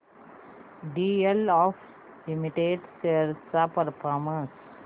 DLF limited shares चा performance